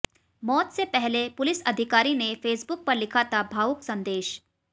मौत से पहले पुलिस अधिकारी ने फेसबुक पर लिखा था भावुक संदेश